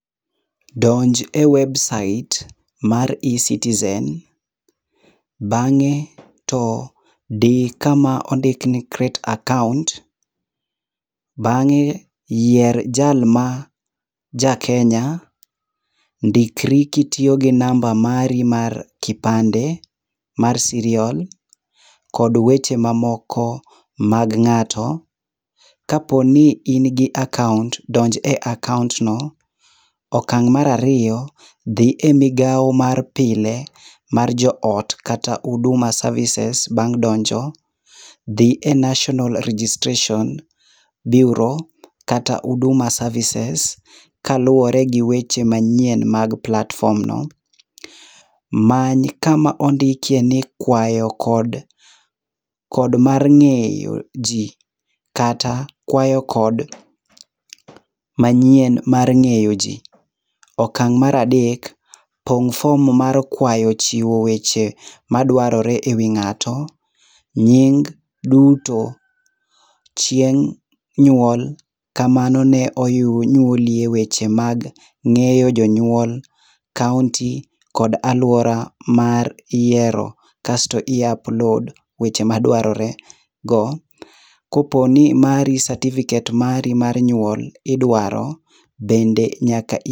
Donj e websait mar e-Citizen, bang'e to di kama ondikni Create Account. Bang'e yier jalma ja Kenya, ndikri kitiyo gi namba mari mar kipande mar Serial, kod weche mamoko mag ng'ato. Kaponi in gi akaont, donj e akaont no. Okang' marariyo, dhi e migawo mar pile mar jo ot kata Huduma Services bang' donjo. Dhi e National Registration Bureau kata Huduma Services, kaluwore gi weche manyien mag platform no. Many kama ondikiye ni "Kwayo kod, kod mar ng'eyo ji" kata "Kwayo kod manyien mar ng'eyo ji". Okang' maradek, pong' fom mar kwayo chiwo weche madwarore ewi ng'ato, nying duto, chieng' nyuol kamano ne onyuolie weche mag ng'eyo jonyuol kaonti kod alwora mar yiero. Kasto i upload weche madwarore go koponi mari certificate mari mar nyuol idwaro, bende nyaka i.